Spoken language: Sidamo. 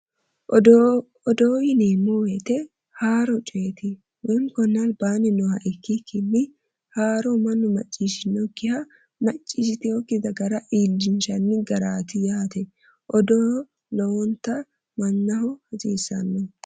Odoo yineemmo woyiite haroo coyeti konni albaanni nooha ikikkinni haaro mannu maciishinnokiha machiishshitinok dagara odeessinanni garaatti yaate odoo lowontanni mannaho hasiissanno